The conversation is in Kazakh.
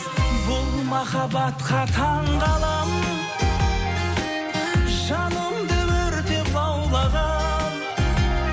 бұл махаббатқа таңғаламын жанымды өртеп лаулаған